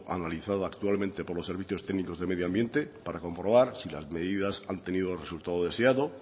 analizada actualmente por los servicios técnicos de medio ambiente para comprobar si las medidas han tenido el resultado deseado